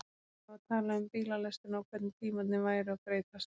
Það var talað um bílalestina og hvernig tímarnir væru að breytast.